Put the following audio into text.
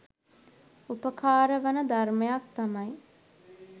උපකාරවන ධර්මයක් තමයි